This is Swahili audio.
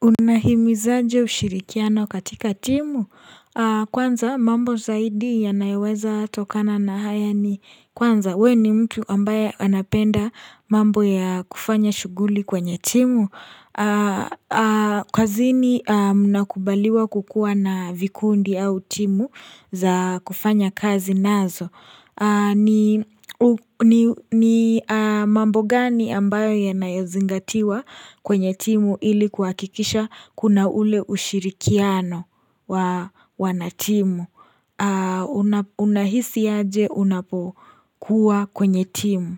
Unahimu za jo ushirikiano katika timu. Kwanza mambo zaidi yanayoweza tokana na haya ni kwanza. We ni mtu ambaye anapenda mambo ya kufanya shuguli kwenye timu. Kwa zini mnakubaliwa kukuwa na vikundi au timu za kufanya kazi nazo ni mambo gani ambayo yanayozingatiwa kwenye timu ilikuwa kikisha kuna ule ushirikiano wanatimu Unahisi aje unapokuwa kwenye timu